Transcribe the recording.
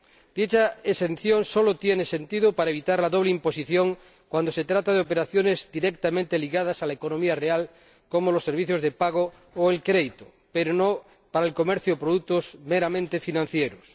Dicha exención solo tiene sentido para evitar la doble imposición cuando se trata de operaciones directamente ligadas a la economía real, como los servicios de pago o el crédito, pero no para el comercio de productos meramente financieros.